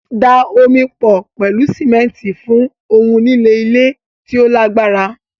Da omi pọ̀ pẹ̀lú símẹ́ńtì fún ohun lílẹ̀ ile ti o lagbara